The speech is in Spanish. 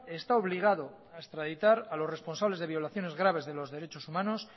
está obligado a extraditar a los responsables de violaciones graves de derechos humanos